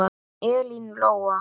Elín Lóa.